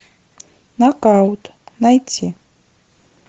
нокаут найти